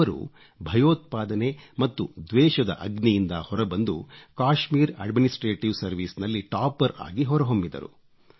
ಅವರು ಭಯೋತ್ಪಾದನೆ ಮತ್ತು ದ್ವೇಶದ ಅಗ್ನಿಯಿಂದ ಹೊರಬಂದು ಕಾಶ್ಮೀರ್ ಅಡ್ಮಿನಿಸ್ಟ್ರೇಟಿವ್ ಸರ್ವೈಸ್ ನಲ್ಲಿ ಟಾಪರ್ ಆಗಿ ಹೊರ ಹೊಮ್ಮಿದರು